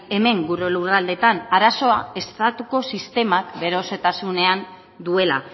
hemen gure lurraldeetan arazoa estatuko sistemak bere osotasunean duela